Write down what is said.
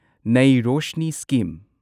Nai Roshni scheme